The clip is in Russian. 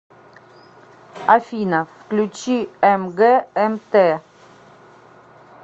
афина включи мгмт